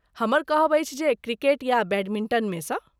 हमर कहब अछि जे क्रिकेट या बैडमिंटनमे सँ।